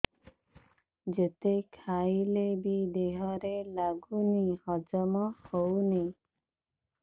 ଯେତେ ଖାଇଲେ ବି ଦେହରେ ଲାଗୁନି ହଜମ ହଉନି